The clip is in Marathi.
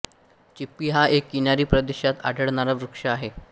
चिप्पि हा एक किनारी प्रदेशात आढळणारा वृक्ष आहे